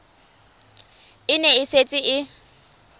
e ne e setse e